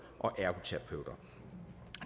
og ergoterapeuter